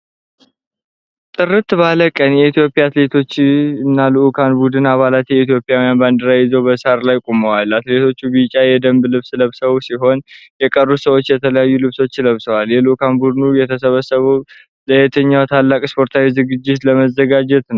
ጥርት ባለ ቀን፣ የኢትዮጵያ አትሌቶችና የልዑካን ቡድን አባላት የኢትዮጵያን ባንዲራ ይዘው በሣር ላይ ቆመዋል። አትሌቶቹ ቢጫ የደንብ ልብስ ለብሰው ሲሆን፣ የተቀሩት ሰዎች የተለያዩ ልብሶችን ለብሰዋል። የልዑካን ቡድኑ የተሰበሰበው ለየትኛው ታላቅ ስፖርታዊ ዝግጅት ለመዘጋጀት ነው?